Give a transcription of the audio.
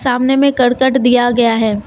सामने में करकट दिया गया है।